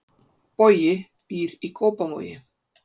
Bogi býr í Kópavogi.